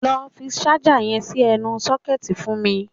Lọ fi ṣájà yẹn sí ẹnu sọ́kẹ̀tì fún mi!